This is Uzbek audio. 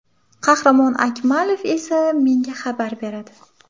Qahramon Akmalov esa menga xabar beradi.